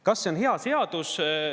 Kas see on hea seadus?